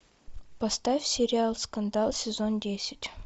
поставь сериал скандал сезон десять